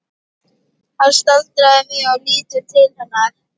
Hann staldrar við og lítur til hennar.